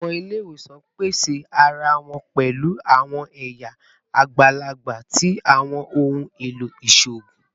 Awọn ile-iwosan pese ara wọn pẹlu awọn ẹya agbalagba ti awọn ohun elo iṣoogun